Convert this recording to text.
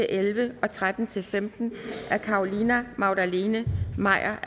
elleve og tretten til femten af carolina magdalene maier